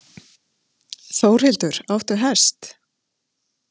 Þórhildur: Áttu hest?